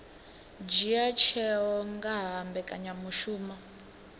dzhia tsheo nga ha mbekanyamushumo